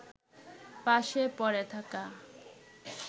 পাশে পড়ে থাকা